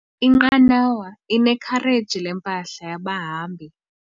Inqanawa inekhareji lempahla yabahambi.